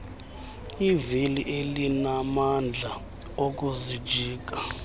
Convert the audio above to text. kwivili elinamandla okuzijika